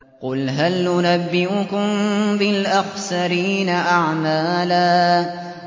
قُلْ هَلْ نُنَبِّئُكُم بِالْأَخْسَرِينَ أَعْمَالًا